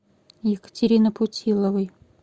екатерины путиловой